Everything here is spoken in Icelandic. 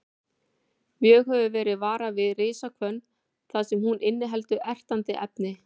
Mjög hefur verið varað við risahvönn þar sem hún inniheldur ertandi efni.